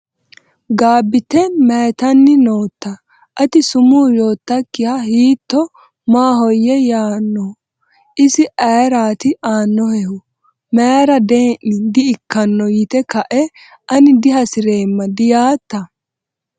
Gabbiite: Mayyitanni nootta? Ati sumuu yoottakkiha hiitto maahoyye yaanno? Isi ayeraati aannohehu? Mayra dee’ni di”ikkanno yite kae ani dihasi’reemma diyaatta?